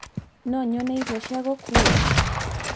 no nyone irio cia gũkuua